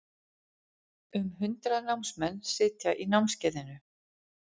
Um hundrað námsmenn sitja í námskeiðinu